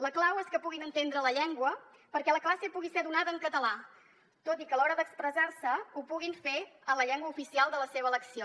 la clau és que puguin entendre la llengua perquè la classe pugui ser donada en català tot i que a l’hora d’expressar se ho puguin fer en la llengua oficial de la seva elecció